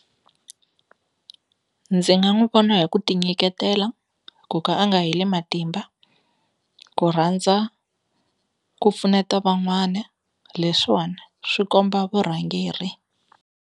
Ndzi nga n'wu vona hi ku ti nyiketela, ku ka a nga heli matimba, ku rhandza ku pfuneta van'wani, leswiwani swi komba vurhangeri.